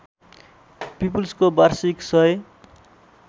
पिपुल्सको वार्षिक १००